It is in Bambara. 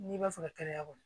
N'i b'a fɛ ka kɛnɛya kɔni